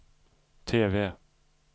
TV